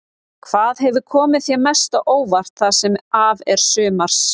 Hvað hefur komið þér mest á óvart það sem af er sumars?